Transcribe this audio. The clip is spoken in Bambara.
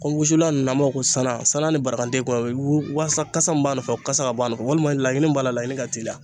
Ko wusulan nunnu an b'a fɔ ko sanna sanna ni barakaden kumabɛ i bi waasa kasa min b'a nɔfɛ o kasa ka bɔ a nɔfɛ walima laɲini min b'a la laɲini ka teliya